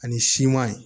Ani siman ye